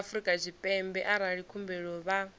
afrika tshipembe arali khumbelo vha